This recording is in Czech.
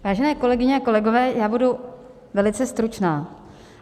Vážené kolegyně a kolegové, já budu velice stručná.